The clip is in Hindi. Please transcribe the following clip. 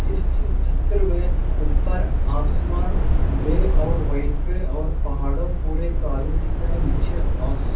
इस चि चि चित्र में ऊपर आसमान ग्रे और व्हाइट में और पहाड़ो पूरे काले दिख रहे हैं नीचे ऑस-